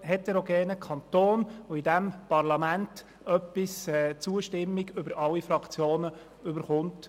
heterogenen Kanton und in diesem Parlament etwas die Zustimmung aller Fraktionen erhält.